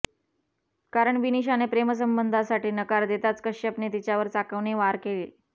कारण विनिशाने प्रेमसंबंधासाठी नकार देताच कश्यपने तिच्यावर चाकूने वार केले